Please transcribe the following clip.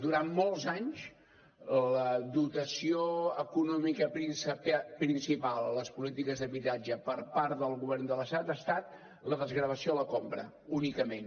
durant molts anys la dotació econòmica principal a les polítiques d’habitatge per part del govern de l’estat ha estat la desgravació de la compra únicament